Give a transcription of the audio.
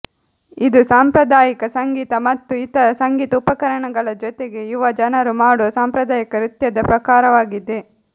ಇದು ಸಾಂಪ್ರದಾಯಿಕ ಸಂಗೀತ ಮತ್ತು ಇತರ ಸಂಗೀತ ಉಪಕರಣಗಳ ಜೊತೆಗೆ ಯುವ ಜನರು ಮಾಡುವ ಸಾಂಪ್ರದಾಯಿಕ ನೃತ್ಯದ ಪ್ರಕಾರವಾಗಿದೆ